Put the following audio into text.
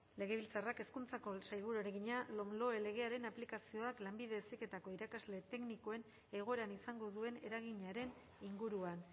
bildu taldeko legebiltzarkideak hezkuntzako sailburuari egina lomloe legearen aplikazioak lanbide heziketako irakasle teknikoen egoeran izango duen eraginaren inguruan